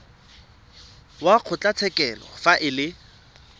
wa kgotlatshekelo fa e le